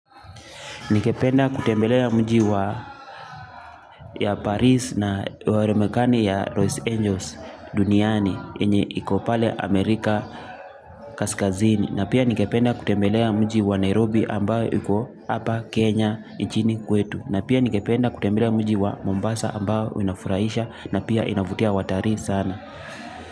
Ningependa kutembelea mji wa ya Paris na wa remekani ya Rose Angels duniani yenye iko pale Amerika kaskazini. Na pia ningependa kutembelea mji wa Nairobi ambayo iko hapa Kenya nchini kwetu. Na pia ningependa kutembelea mji wa Mombasa ambao inafurahisha na pia inavutia watalii sana.